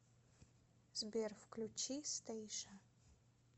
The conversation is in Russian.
сбер включи стэйша